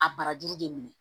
A barajuru de minɛ